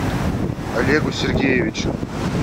олегу сергеевичу